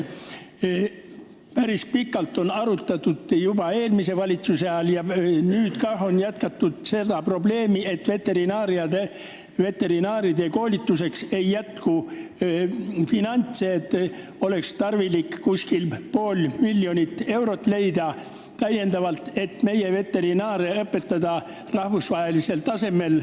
Päris pikalt on arutatud seda probleemi – seda tehti juba eelmise valitsuse ajal ja nüüd on seda jätkatud –, et veterinaaride koolituseks ei jätku finantse ja oleks tarvilik leida täiendavalt umbes pool miljonit eurot, et saaks meie veterinaare õpetada rahvusvahelisel tasemel.